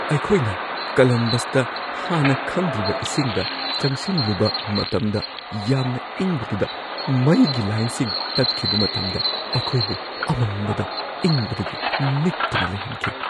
ꯑꯩꯈꯣꯏꯅ ꯀꯂꯝꯕꯁꯇ ꯍꯥꯟꯅ ꯈꯪꯗ꯭ꯔꯤꯕ ꯏꯁꯤꯡꯗ ꯆꯪꯁꯤꯜꯂꯨꯕ ꯃꯇꯝꯗ ꯌꯥꯝꯅ ꯏꯪꯕꯗꯨꯗ ꯃꯩꯒꯤ ꯂꯥꯏꯟꯁꯤꯡ ꯇꯠꯈꯤꯕ ꯃꯇꯝꯗ ꯑꯩꯈꯣꯏꯕꯨ ꯑꯃꯝꯕꯗ ꯏꯪꯕꯗꯒꯤ ꯅꯤꯛꯇꯨꯅ ꯂꯩꯍꯟꯈꯤ ꯫